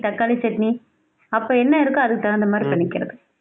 தக்காளி chutney அப்போ என்ன இருக்கோ அதுக்கு தகுந்த மாதிரி பண்ணுகிறது